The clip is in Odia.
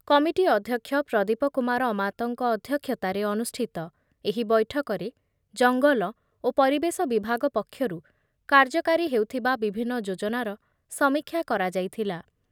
କମିଟି ଅଧ୍ୟକ୍ଷ ପ୍ରଦୀପ କୁମାର ଅମାତଙ୍କ ଅଧ୍ଯକ୍ଷତାରେ ଅନୁଷ୍ଠିତ ଏହି ବୈଠକରେ ଜଙ୍ଗଲ ଓ ପରିବେଶ ବିଭାଗ ପକ୍ଷରୁ କାର୍ଯ୍ୟକାରୀ ହେଉଥିବା ବିଭିନ୍ନ ଯୋଜନାର ସମୀକ୍ଷା କରାଯାଇଥିଲା।